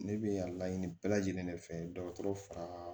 Ne bɛ a laɲini bɛɛ lajɛlen de fɛ dɔgɔtɔrɔ fara